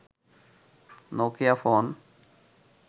Nokia phone